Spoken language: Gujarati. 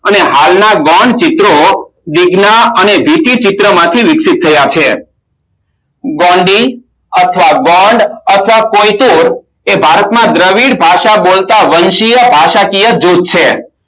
અને હાલમાં ગોંડ ચિત્રો ગોંડી અથવા ગોંડ અથવા પોયચું એ ભારતમાં દ્રવિડ ભાષા બોલતા વંશીય ભાષાકીય જૂથ છે